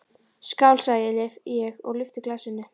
Skál, sagði ég og lyfti glasinu.